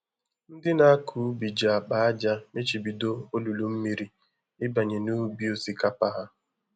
Ndị nakọ ubi ji akpa ájá mechibido olulu mmiri ịbanye n'ubi osikapa ha